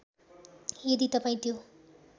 यदि तपाईँं त्यो